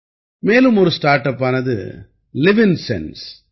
மேலும் ஒரு ஸ்டார்ட் அப்பானது லிவ்ன்சென்ஸ்